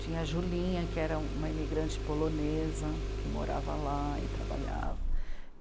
Tinha a Julinha, que era uma imigrante polonesa, que morava lá e trabalhava.